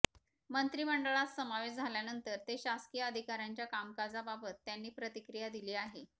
मंत्रिमंडळात समावेश झाल्यानंतर ते शासकीय अधिकाऱ्यांच्या कामकाजाबाबत त्यांनी प्रतिक्रिया दिली आहे